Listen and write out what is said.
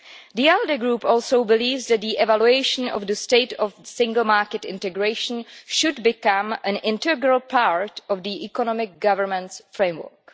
The ALDE Group also believes that evaluation of the state of single market integration should become an integral part of the economic government framework.